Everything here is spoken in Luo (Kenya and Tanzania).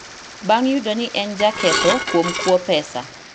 bang’ yudo ni en jaketho kuom kuo pesa